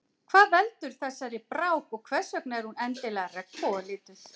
Hvað veldur þessari brák og hversvegna er hún endilega regnbogalituð?